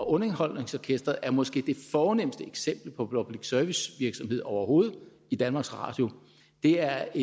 underholdningsorkestret er måske det fornemste eksempel på public service virksomhed overhovedet i danmarks radio det er